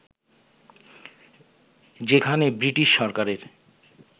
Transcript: যেখানে ব্রিটিশ সরকারের